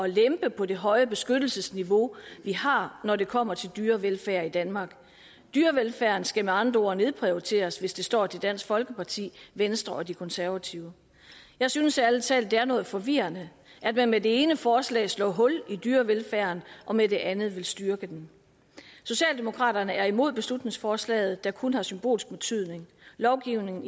lempe på det høje beskyttelsesniveau vi har når det kommer til dyrevelfærd i danmark dyrevelfærden skal med andre ord nedprioriteres hvis det står til dansk folkeparti venstre og de konservative jeg synes ærlig talt det er noget forvirrende at man med det ene forslag slår hul i dyrevelfærden og med det andet vil styrke den socialdemokraterne er imod beslutningsforslaget der kun har symbolsk betydning lovgivningen